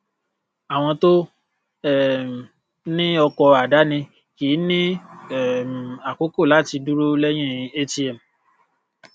àwọn tó um ní ọkọ àdáni kìí ní um àkókò láti dúró lẹyin atm